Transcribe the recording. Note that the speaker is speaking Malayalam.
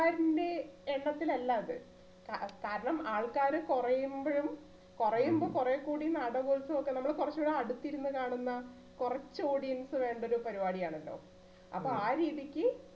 യശസ്സിൽ അല്ല അത് കാ~കാരണം ആൾക്കാര് കുറയുമ്പഴും, കുറയുമ്പം കുറെ കൂടി നാടകോത്സവമൊക്കെ കുറച്ചുകൂടി അടുത്തിരുന്ന് കാണുന്ന കുറച്ച് audience വേണ്ട ഒരു പരിപാടിയാണിത്. അപ്പൊ ആ രീതിക്ക്